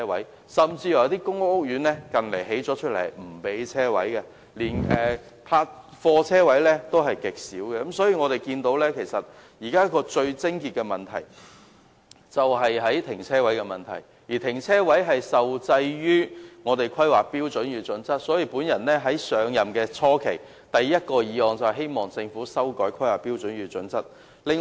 一些近年落成的公屋甚至不提供車位，連貨車車位也極少，可見現時問題的癥結是泊車位的問題，而泊車位受制於《香港規劃標準與準則》，所以我在上任議員初期提出的第一項議案，便是希望政府修改《香港規劃標準與準則》。